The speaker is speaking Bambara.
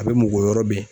A bɛ mɔgɔ yɔrɔ min